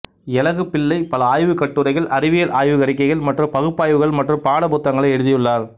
எலகுப்பிள்ளை பல ஆய்வுக் கட்டுரைகள் அறிவியல் ஆய்வு அறிக்கைகள் மற்றும் பகுப்பாய்வுகள் மற்றும் பாடப் புத்தகங்களை எழுதியுள்ளார்